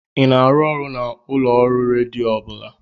Ị na-arụ ọrụ na ulooru redio ọ bụla?